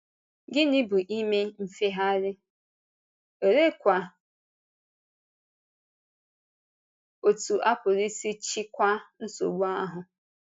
Gịnị bụ ime mfegharị, òleekwa otú a pụrụ isi chịkwaa nsogbu ahụ?